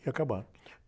E acabaram.